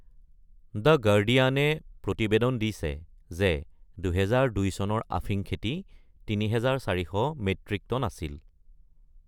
The গাৰ্ডিয়ানে প্ৰতিবেদন দিছে যে ২০০২ চনৰ আফিম খেতি ৩৪০০ মেট্ৰিক টন আছিল।